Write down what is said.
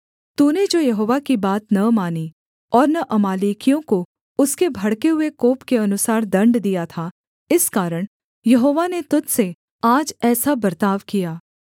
तूने जो यहोवा की बात न मानी और न अमालेकियों को उसके भड़के हुए कोप के अनुसार दण्ड दिया था इस कारण यहोवा ने तुझ से आज ऐसा बर्ताव किया